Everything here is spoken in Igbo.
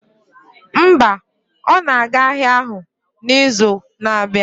Mba, ọ na-aga ahịa ahụ n'izu na-abịa